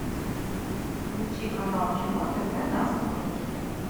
включи канал кино тв на смотрешке